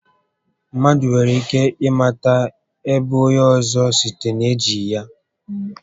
Mmadụ nwere ike ị mata ébo onyé ọzọ site n'ejighi